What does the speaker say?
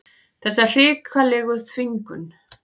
Þessa hrikalegu þvingun.